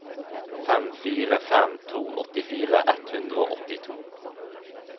fem fire fem to åttifire ett hundre og åttito